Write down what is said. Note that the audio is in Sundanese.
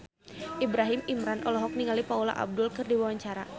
Ibrahim Imran olohok ningali Paula Abdul keur diwawancara